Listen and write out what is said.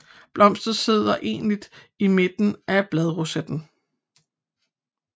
Blomsten sidder enligt i midten af bladrosetten